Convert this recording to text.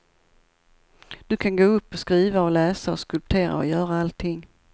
Du kan gå upp och skriva och läsa och skulptera och göra allting.